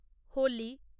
Holi